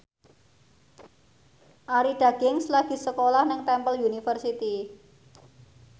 Arie Daginks lagi sekolah nang Temple University